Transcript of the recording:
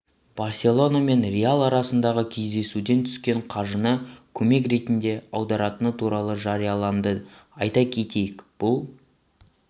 барселона мен реал арасындағы кездесуден түскен қаржыны көмек ретінде аударатыны туралы жарияланды айта кетейік бұл